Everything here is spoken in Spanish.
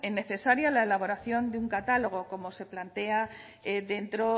necesaria de un catálogo como se plantea dentro